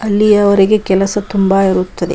ಅಲ್ಲಿ ಅವರಿಗೆ ಕೆಲಸ ತುಂಬಾ ಇರುತ್ತದೆ.